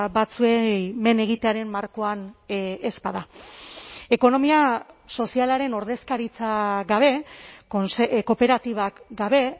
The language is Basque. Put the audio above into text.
batzuei men egitearen markoan ez bada ekonomia sozialaren ordezkaritza gabe kooperatibak gabe